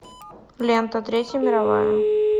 лента третья мировая